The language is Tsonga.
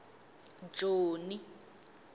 joni